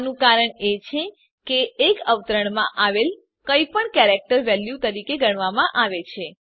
આનું કારણ એ છે કે એક અવતરણમાં આવેલ કંઈપણને કેરેક્ટર વેલ્યુ તરીકે ગણવામાં આવે છે